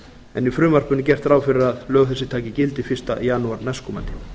en í frumvarpinu er gert ráð fyrir að lög þessi taki gildi fyrsta janúar næstkomandi